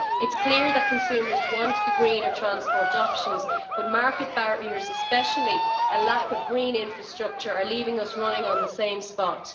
It is clear that consumers want the greener transport options but market barriers, and especially a lack of green infrastructure, are leaving us running on the spot.